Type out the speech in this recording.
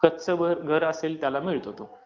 कच्च घर असेल त्याला मिळतो तो